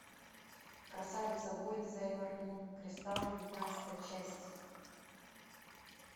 красавица воин сейлор мун кристалл девятнадцатая часть